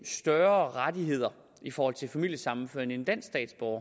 større rettigheder i forhold til familiesammenføring end en dansk statsborger